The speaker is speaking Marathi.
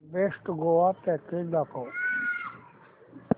बेस्ट गोवा पॅकेज दाखव